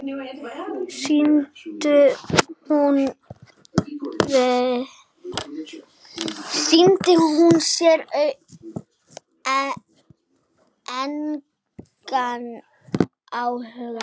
Sýndi hún þér engan áhuga?